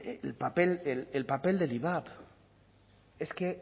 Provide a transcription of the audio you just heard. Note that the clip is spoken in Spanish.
el papel el papel del ivap es que